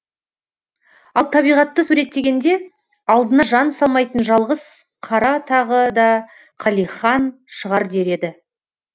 ал табиғатты суреттегенде алдына жан салмайтын жалғыз қара тағы да қалихан шығар дер еді